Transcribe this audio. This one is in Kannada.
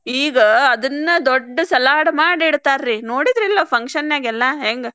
ಈಗ ಅದನ್ನ ದೊಡ್ಡ್ salad ಮಾಡಿ ಇಡ್ತಾರ್ರೀ ನೋಡಿದ್ರಲ್ಲೋ function ಗೆ ಎಲ್ಲಾ ಹೆಂಗ್.